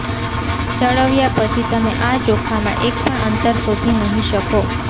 ચળવ્યા પછી તમે આ ચોખામાં એક પણ અંતર શોધી નહિ શકો